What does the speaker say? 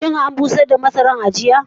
Shin an busar da masarar ne a jiya?